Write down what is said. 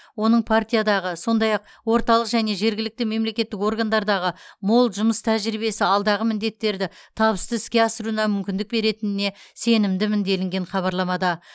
оның партиядағы сондай ақ орталық және жергілікті мемлекеттік органдардағы мол жұмыс тәжірибесі алдағы міндеттерді табысты іске асыруына мүмкіндік беретініне сенімдімін делінген хабарламада